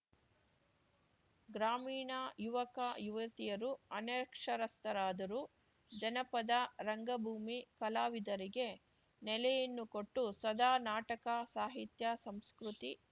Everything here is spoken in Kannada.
ಗ್ರಾಮೀಣ ಯುವಕ ಯುವತಿಯರು ಅನಕ್ಷರಸ್ಥರಾದರೂ ಜನಪದ ರಂಗಭೂಮಿ ಕಲಾವಿದರಿಗೆ ನೆಲೆಯನ್ನು ಕೊಟ್ಟು ಸದಾ ನಾಟಕ ಸಾಹಿತ್ಯ ಸಂಸ್ಕೃತಿ